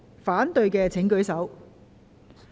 反對的請舉手。